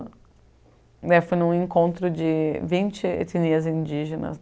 Daí eu fui em um encontro de vinte etnias indígenas.